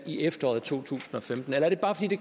i efteråret 2015 eller er det bare fordi det